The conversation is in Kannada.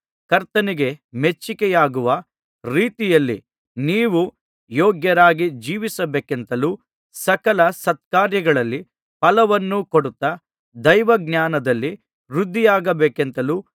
ಕರ್ತನಿಗೆ ಮೆಚ್ಚಿಕೆಯಾಗುವ ರೀತಿಯಲ್ಲಿ ನೀವು ಯೋಗ್ಯರಾಗಿ ಜೀವಿಸಬೇಕೆಂತಲೂ ಸಕಲ ಸತ್ಕಾರ್ಯಗಳಲ್ಲಿ ಫಲವನ್ನು ಕೊಡುತ್ತಾ ದೈವಜ್ಞಾನದಲ್ಲಿ ವೃದ್ಧಿಯಾಗಬೇಕೆಂತಲೂ